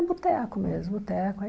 É boteco mesmo, boteco.